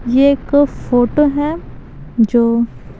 यह एक फोटो है जो--